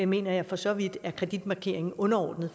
mener jeg for så vidt er kreditmarkeringen underordnet